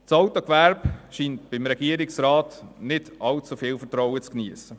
Das Autogewerbe scheint beim Regierungsrat nicht allzu viel Vertrauen zu geniessen.